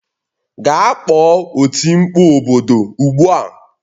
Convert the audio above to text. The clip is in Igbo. Gaa kpọọ oti mkpụ obodo ugbu a